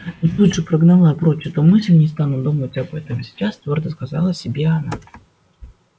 но она тут же прогнала прочь эту мысль не стану думать об этом сейчас твёрдо сказала себе она